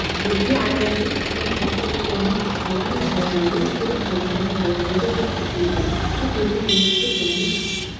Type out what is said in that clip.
елге араласып кеткен антициклонның ықпалымен ауа райы өзгеріп жауын-шашын болмайды деп күтіледі тек елдің оңтүстік және